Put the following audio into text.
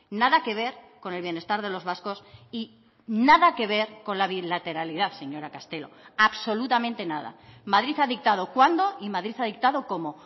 nada que ver con el bienestar de los vascos y nada que ver con la bilateralidad señora castelo absolutamente nada madrid ha dictado cuándo y madrid ha dictado cómo